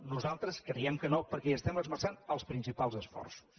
nosaltres creiem que no perquè hi estem esmerçant els principals esforços